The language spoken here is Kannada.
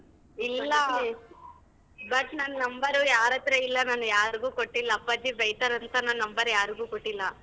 But ನನ್ number ಉ ಯಾರತ್ರ ಇಲ್ಲ ನಾನ್ ಯಾರಿಗೂ ಕೊಟ್ಟಿಲ್ಲ ಅಪ್ಪಾಜಿ ಬೈತರಂತ ನನ್ number ಯಾರಿಗೂ ಕೊಟ್ಟಿಲ್ಲ.